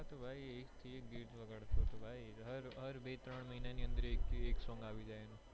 હા તો ભાઈ એક સે એક ગીત વગાડતો હતો હાર બે ત્રણ મહિના ની અંદર એક song આવી જાય એનું